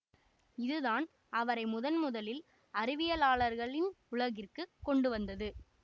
இதுதான் அவரை முதன்முதலில் அறிவியலாளர்களின் உலகிற்கு கொண்டுவந்தது